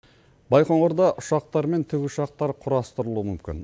байқоңырда ұшақтар мен тікұшақтар құрастырылуы мүмкін